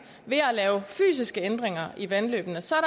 ved at lave fysiske ændringer i vandløbene så er